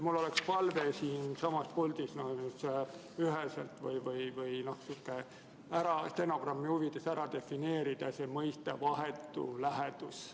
Mul on palve siinsamas puldis üheselt ära defineerida mõiste "vahetu lähedus".